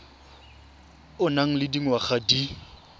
o nang le dingwaga di